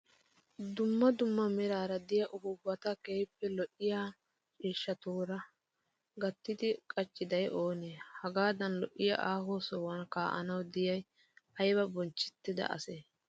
Dumma dumma meraara diyaa upuuppata keehippe lo'iyaa ciishshatuura gattidi qachchidayi oonee? Hagaadan lo'iyaa aaho sohuwan kaa'anawu diyay ayiba bonchchettida asee?